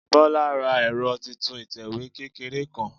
Bọ́lá ra ẹ̀rọ titun ìtẹ̀wé kékeré kan